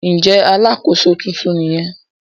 Ǹjẹ́ alàkóso tuntun nìyẹn?